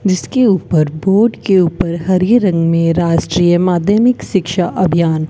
जिसके ऊपर बोर्ड के ऊपर हरे रंग में राष्ट्रीय माध्यमिक शिक्षा अभियान--